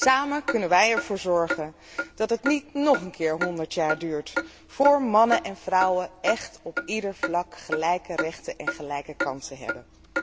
Samen kunnen wij ervoor zorgen dat het niet nog een keer honderd jaar duurt vóór mannen en vrouwen op ieder vlak gelijke rechten en gelijke kansen hebben.